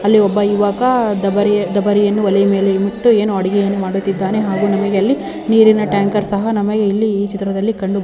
ಅಲ್ಲಿ ಒಬ್ಬ ಯುವಕ ದಬರಿ ದಬರಿಯನ್ನು ಇಟ್ಟು ಏನು ಅಡುಗೆಯನ್ನು ಮಾಡುತ್ತಿದ್ದಾನೆ ಹಾಗೂ ನಮಗೆ ಅಲ್ಲಿ ನೀರಿನ ಟ್ಯಾಂಕರ್ ಸಹ ನಮಗೆ ಇಲ್ಲಿ ಕಂಡು ಬರುತ್ತಾ ಇದೆ.